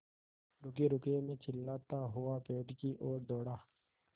रुकिएरुकिए मैं चिल्लाता हुआ पेड़ की ओर दौड़ा